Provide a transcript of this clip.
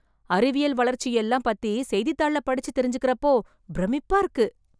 அறிவியல் வளர்ச்சியெல்லாம் பத்தி செய்தித்தாள்ள படிச்சு தெரிஞ்சிக்கறப்போ, பிரமிப்பா இருக்கு...